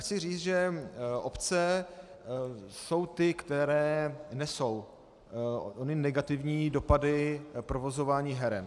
Chci říct, že obce jsou ty, které nesou ony negativní dopady provozování heren.